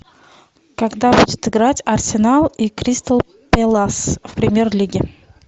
когда будет играть арсенал и кристал пэлас в премьер лиге